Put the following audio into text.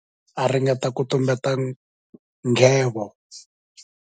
U nwile hi ku hatlisa swinene kutani endzhaku ka sweswo a ringeta ku tumbeta nghevo.